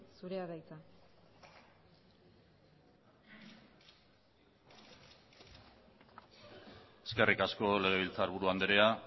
zurea da hitza eskerrik asko legebiltzarburu andrea